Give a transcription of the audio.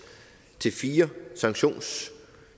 til fire sanktionssatser